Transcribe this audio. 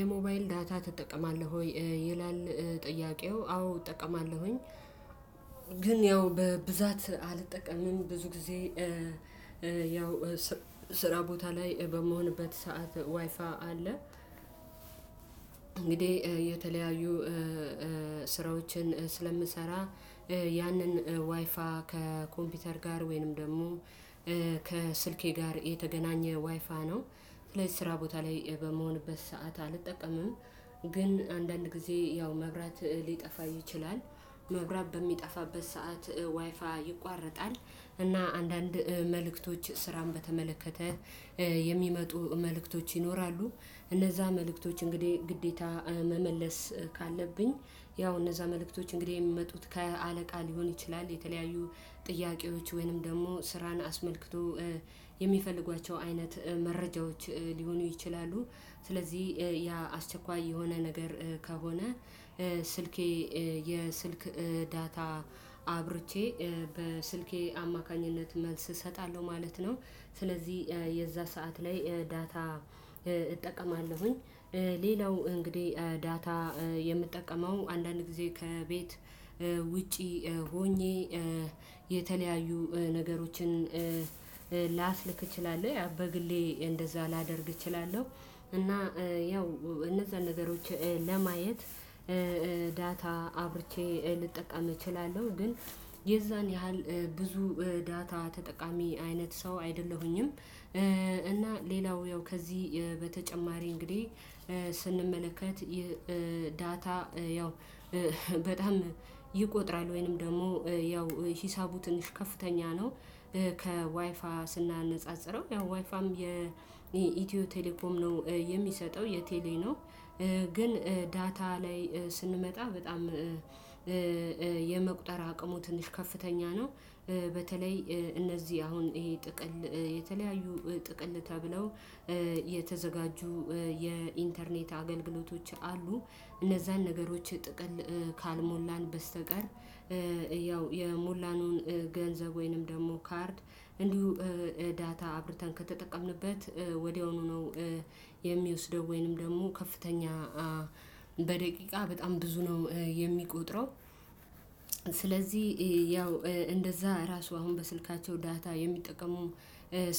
የሞባይል ዳታ ትጠቀማለህ ወይ? ይላል ጥያቄው አዎ እጠቀማለሁኝ። ግን ያው በብዛት አልጠቀምም ብዙ ጊዜ ያው ስራ ቦታ ላይ በምሆንበት ሰዓት ዋይፋ አለ። እንግዲህ የተለያዩ ስራዎችን ስለምሰራ ያንን ዋይፋ ከኮምፒውተር ጋር ወይንም ደግሞ ጋር የተገናኘ ዋይፋይ ነው። ስለዚህ ስራ ቦታ ላይ በምሆንበት ሰዓት አልጠቀምም። ግን አንዳንድ ጊዜ ያው መብራት ሊጠፋ ይችላል መብራት በሚጠፋበት ሰዓት ዋይፋ ዋይፋይ ይቋረጣል። እና አንዳንድ መልእክቶች ስራን በተመለከተ የሚመጡ መልእክቶች ይኖራሉ። እነዛ መልእክቶች እንግዲህ ግዴታ መመለስ ካለብኝ ያው እነዛ መልእክቶች እንግዲህ የሚመጡት ከአለቃ ሊሆን ይችላል የተለያዩ ጥያቄዎች ወይንም ደግሞ ስራን አስመልክቶ የሚፈልጓቸው አይነት መረጃዎች ሊሆኑ ይችላሉ። ስለዚህ ያ አስቸኳይ የሆነ ነገር ከሆነ ስልኬ የስልክ ዳታ አብርቼ በስልኬ አማካኝነት መልስ እሰጣለሁ ማለት ነው። ስለዚህ የዛ ሰዓት ላይ ዳታ እጠቀማለሁኝ። ሌላው እንግዲህ ዳታ የምጠቀመው አንዳንድ ጊዜ ከቤት ውጪ ሆኜ የተለያዩ ነገሮችን እችላለሁ በግሌ እንደዛ ላደርግ እችላለሁ። እና ያው እነዛን ነገሮች ለማየት ዳታ አብርቼ ልጠቀም እችላለሁ ግን የዛን ያህል ብዙ ዳታ ተጠቃሚ አይነት ሰው አይደለሁኝም። እና ሌላው ያው ከዚህ በተጨማሪ እንግዲህ ስንመለከት የዳታ ያው ይቆጥራል ወይንም ደግሞ ያው ሂሳቡ ትንሽ ከፍተኛ ነው። ከዋይፋ ስናነጻጽረው ያው ዋይፋም የኢትዮ ቴሌኮም ነው የሚሰጠው የቴሌ ነው። ግን ዳታ ላይ ስንመጣ በጣም የመቁጠር አቅሙ ትንሽ ከፍተኛ ነው። በተለይ እነዚህ አሁን ይሄ ጥቅል የተለያዩ ጥቅል ተብለው የተዘጋጁ የኢንተርኔት አገልግሎቶች አሉ። እነዛን ነገሮች ጥቅል ካልሞላን በስተቀር ያው የሞላነውን ገንዘብ ወይንም ደግሞ ካርድ እንዲሁ ዳታ አብርተን ከተጠቀምንበት ወዲያውኑ ነው። የሚወስደው ወይንም ደግሞ ከፍተኛ በደቂቃ በጣም ብዙ ነው የሚቆጥረው። ስለዚህ ያው እንደዛ ራሱ አሁን በስልካቸው ዳታ የሚጠቀሙ